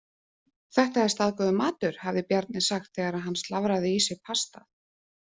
Þetta er staðgóður matur, hafði Bjarni sagt þegar hann slafraði í sig pastað.